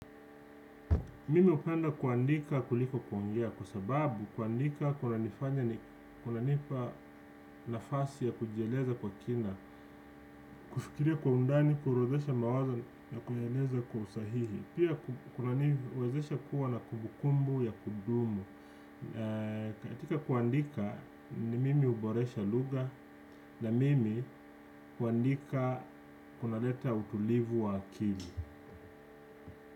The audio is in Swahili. Mimi hupenda kuandika kuliko kuongea kwa sababu kuandika kuna nifanya ni kunanipa nafasi ya kujieleza kwa kina kufikiria kwa undani kuorodhesha mawazo ya kujieleza kwa usahihi pia kuandika kuwa na kumbukumbu ya kudumu katika kuandika ni mimi huboresha lugha na mimi kuandika kuna leta utulivu wa akili.